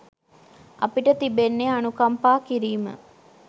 අපිට තිබෙන්නේ අනුකම්පා කිරීම